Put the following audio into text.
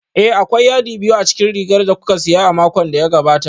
Ee, akwai yadi biyu a cikin rigar da kuka siya a makon da ya gabata